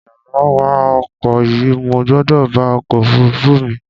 Yára wá ọkọ̀ yìí, mo gbọ́dọ̀ bá ọkọ̀ òfurufú mi